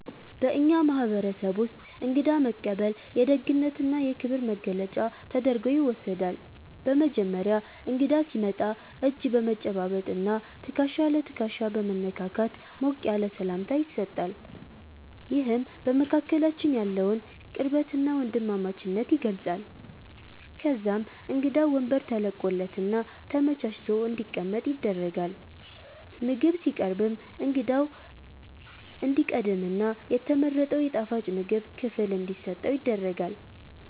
በእኛ ማህበረሰብ ውስጥ እንግዳ መቀበል የደግነትና የክብር መገለጫ ተደርጎ ይወሰዳል። በመጀመሪያ እንግዳ ሲመጣ እጅ በመጨባበጥና ትከሻ ለትከሻ በመነካካት ሞቅ ያለ ሰላምታ ይሰጣል፤ ይህም በመካከላችን ያለውን ቅርበትና ወንድማማችነት ይገልጻል። ከዛም እንግዳው ወንበር ተለቆለትና ተመቻችቶ እንዲቀመጥ ይደረጋል። ምግብ ሲቀርብም እንግዳው እንዲቀድምና የተመረጠው የጣፋጭ ምግብ ክፍል እንዲሰጠው ይደረጋል፤